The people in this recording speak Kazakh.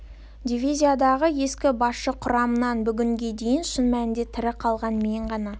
дивизиядағы ескі басшы құрамнан бүгінге дейін шын мәнінде тірі қалған мен ғана